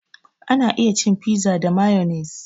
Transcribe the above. An iya cin fiza da mayonnaise